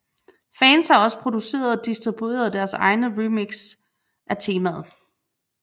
Fans har også produceret og distribuerey deres egne remixe af temaet